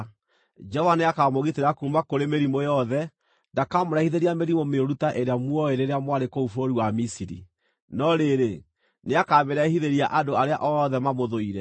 Jehova nĩakamũgitĩra kuuma kũrĩ mĩrimũ yothe. Ndakamũrehithĩria mĩrimũ mĩũru ta ĩrĩa muoĩ rĩrĩa mwarĩ kũu bũrũri wa Misiri, no rĩrĩ, nĩakamĩrehithĩria andũ arĩa othe mamũthũire.